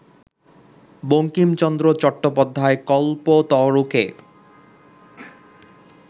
Bankimchandra Chattopadhyay কল্পতরুকে